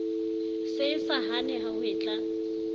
se e sa hane hwetla